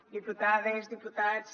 diputades diputats